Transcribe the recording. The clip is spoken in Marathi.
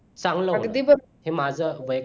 हे माझं वय